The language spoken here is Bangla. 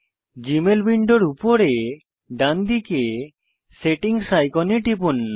জীমেল উইন্ডোর উপরে ডানদিকে সেটিংস আইকনে টিপুন